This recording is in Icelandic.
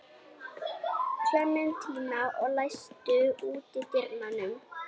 Klementína, læstu útidyrunum.